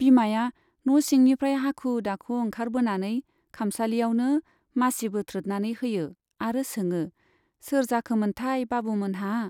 बिमाया न' सिंनिफ्राय हाखु दाखु ओंखारबोनानै खामसालियावनो मासि बोथ्रोदनानै होयो आरो सोङो , सोर जाखोमोनथाय बाबु मोनहा ?